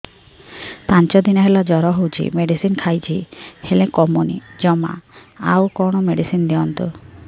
ପାଞ୍ଚ ଦିନ ହେଲା ଜର ହଉଛି ମେଡିସିନ ଖାଇଛି ହେଲେ କମୁନି ଜମା ଆଉ କଣ ମେଡ଼ିସିନ ଦିଅନ୍ତୁ